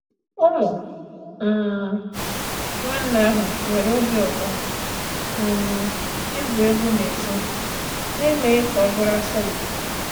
Ụmụ um nwanne ahụ nwere obi ụtọ um igwu egwu n’èzí na-emeghị ka ọ bụrụ asọmpi.